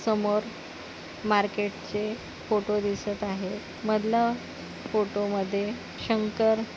समोर मार्केटचे फोटो दिसत आहे मधला फोटो मध्ये शंकर--